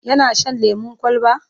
yana Shan lemun kwalba?